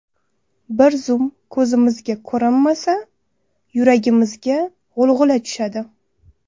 Bir zum ko‘zimizga ko‘rinmasa, yuragimizga g‘ulg‘ula tushadi.